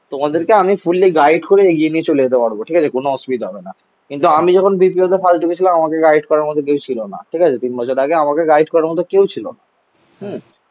তোমাদেরকে আমি fully guide করে এগিয়ে নিয়ে চলে যেতে পারবো. ঠিক আছে? কোন অসুবিধা হবে না. কিন্তু আমি যখন Bpo তে ফালতু গিয়েছিলাম আমাকে গাইড করার মতো কেউ ছিল না. ঠিক আছে. তিন বছর আগে আমাকে গাইড করার মতো কেউ ছিল না হম